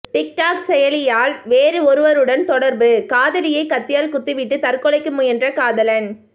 TikTok செயலியால் வேறு ஒருவருடன் தொடர்பு காதலியை கத்தியால் குத்திவிட்டு தற்கொலைக்கு முயன்ற காதலன்